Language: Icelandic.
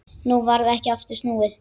Nú varð ekki aftur snúið.